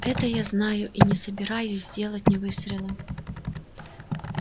это я знаю и не собираюсь сделать ни выстрела